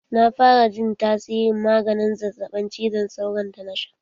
Na fara jin tasirin maganin zazzaɓin cizon sauron da na sha.